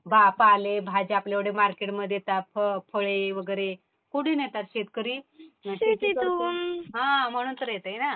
पालेभाज्या आपल्या एवढ्या मार्केटमध्ये येतात.फळे वगैरे कुठून येतात? शेतकरी शेती करतो. हा म्हणून तर येतात म्हणते ना .